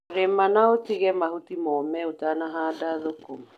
Rĩma na ũtige mahuti mome ũtanahanda thũkũma.